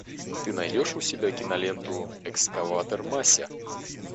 ты найдешь у себя киноленту экскаватор мася